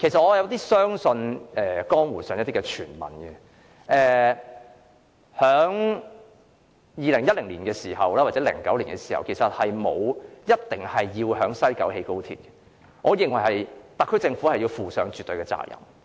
我有點相信江湖上的一些傳聞，即是在2010年或2009年時，根本沒有說過一定要在西九龍興建高鐵，我認為特區政府要就此負上絕對的責任。